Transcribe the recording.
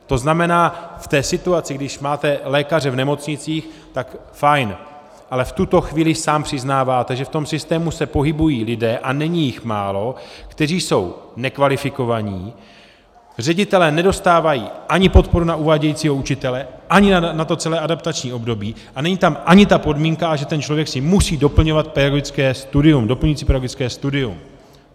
To znamená, v té situaci, když máte lékaře v nemocnicích, tak fajn, ale v tuto chvíli sám přiznáváte, že v tom systému se pohybují lidé, a není jich málo, kteří jsou nekvalifikovaní, ředitelé nedostávají ani podporu na uvádějícího učitele, ani na to celé adaptační období, a není tam ani ta podmínka, že ten člověk si musí doplňovat pedagogické studium, doplňující pedagogické studium.